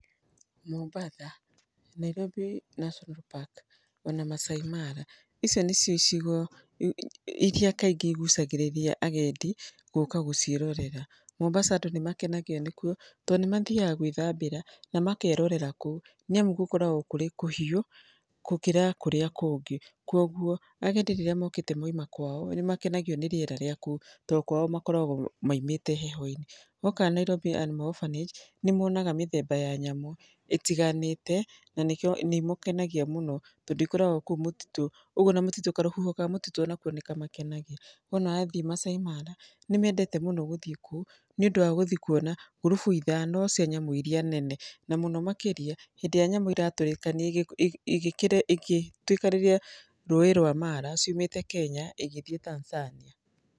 Mombatha, Nairobi National Park, ona Maasai Mara, icio nĩcio icigo iria kaingĩ igucagĩrĩria agendi gũka gũciĩrorera. Mombasa andũ nĩ makenagio nĩkuo tondũ nĩ mathiaga gwĩthambĩra, na makerorera kũu, nĩ amu gũkoragwo kũrĩ kũhiũ gũkĩra kũrĩa kũngĩ. Kuũguo agendi rĩrĩa mokite mauma kwao, nĩ makenagio nĩ rĩeraa ríĩ kũu tondũ kwao makoragwo maumĩte heho-inĩ. Woka Nairobi Animal Orphanage, nĩ monaga mĩthemba ya nyamũ itiiganĩte, na nĩkĩo nĩmakenagio mũno tondũ ikoragwo kũu mũtitũ, ũguo ona mũtitũ, karũhuho ka mũtitũ onako nĩ kamakenagia. Wona athiĩ Maasai Mara nĩ mendete mũno gũthiĩ kũu nĩ ndũ wa gũthiĩ kuona ngurubu ithano cia nyamũ iria nene. Na mũno makĩria, hĩndĩ ĩrĩa nyamũ iratũrĩkanĩria ĩgĩtuĩkanĩria rũĩ rwa Mara ciumĩte Kenya igĩthiĩ Tanzania.